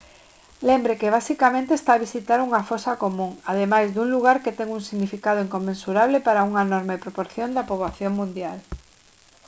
lembre que basicamente está a visitar unha fosa común ademais dun lugar que ten un significado inconmensurable para unha enorme proporción da poboación mundial